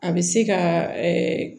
A bɛ se ka